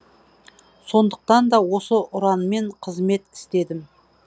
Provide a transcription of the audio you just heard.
сондықтан да осы ұранмен қызмет істедім